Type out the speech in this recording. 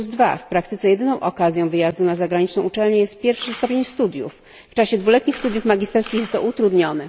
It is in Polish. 32. W praktyce jedyną okazją wyjazdu na zagraniczną uczelnię jest pierwszy stopień studiów, w czasie dwuletnich studiów magisterskich jest to utrudnione.